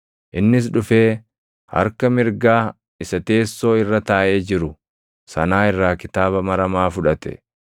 Innis dhufee harka mirgaa isa teessoo irra taaʼee jiru sanaa irraa kitaaba maramaa fudhate.